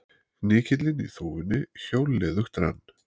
Hnykillinn í þúfunni hjólliðugt rann.